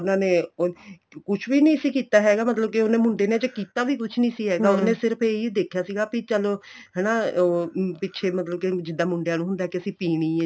ਉਹਨਾ ਨੇ ਕੁੱਛ ਵੀ ਨਹੀਂ ਸੀ ਕੀਤਾ ਹੈਗਾ ਮਤਲਬ ਉਹਨੇ ਮੁੰਡੇ ਨੇ ਅਜੇ ਕੀਤਾ ਵੀ ਕੁੱਛ ਨਹੀਂ ਸੀ ਹੈਗਾ ਉਹਨਾ ਨੇ ਸਿਰਫ਼ ਇਹੀ ਦੇਖਿਆ ਸੀ ਚਲੋਂ ਹਨਾ ਉਹ ਪਿੱਛੇ ਮਤਲਬ ਕੇ ਜਿੱਦਾਂ ਮੁੰਡਿਆ ਨੂੰ ਹੁੰਦਾ ਕੇ ਅਸੀਂ ਪੀਣੀ ਏ